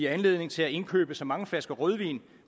anledning til at indkøbe så mange flasker rødvin